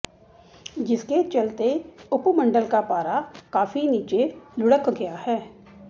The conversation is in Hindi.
जिसके चलते उपमंडल का पारा काफी नीचे लुढ़क गया है